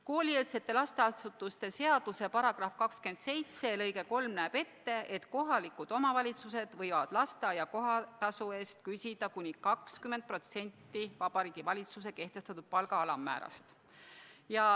Koolieelse lasteasutuse seaduse § 27 lõige 3 näeb ette, et kohalikud omavalitsused võivad lasteaia kohatasu küsida kuni 20% Vabariigi Valitsuse kehtestatud palga alammäärast.